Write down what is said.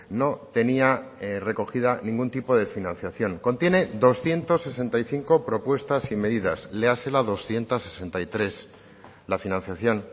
no tenía recogida ningún tipo de financiación contiene doscientos sesenta y cinco propuestas y medidas léase la doscientos sesenta y tres la financiación